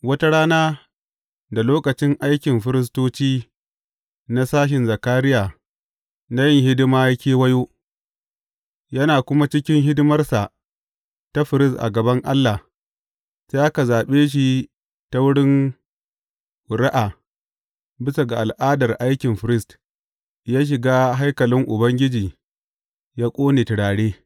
Wata rana da lokacin aikin firistoci na sashen Zakariya na yin hidima ya kewayo, yana kuma cikin hidimarsa ta firist a gaban Allah, sai aka zaɓe shi ta wurin ƙuri’a, bisa ga al’adar aikin firist, yă shiga haikalin Ubangiji yă ƙone turare.